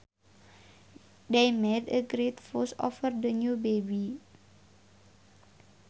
They made a great fuss over the new baby